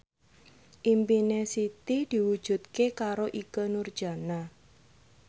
impine Siti diwujudke karo Ikke Nurjanah